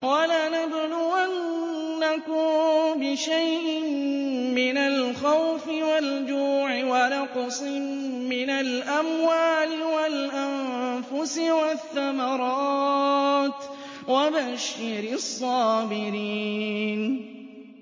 وَلَنَبْلُوَنَّكُم بِشَيْءٍ مِّنَ الْخَوْفِ وَالْجُوعِ وَنَقْصٍ مِّنَ الْأَمْوَالِ وَالْأَنفُسِ وَالثَّمَرَاتِ ۗ وَبَشِّرِ الصَّابِرِينَ